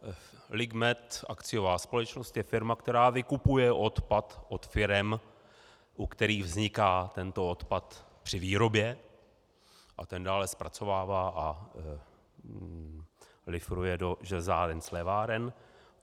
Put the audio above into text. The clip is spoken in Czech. Ligmet, akciová společnost, je firma, která vykupuje odpad od firem, u kterých vzniká tento odpad při výrobě, a ten dále zpracovává a lifruje do železáren, sléváren.